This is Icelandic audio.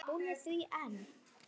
Hún er að því enn!